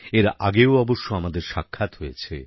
এর আগেও অবশ্য আমাদের সাক্ষাৎ হয়েছে